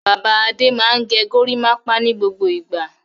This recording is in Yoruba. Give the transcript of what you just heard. Bàbá Adé máa ń gẹ gorímápá ní gbogbo ìgbà.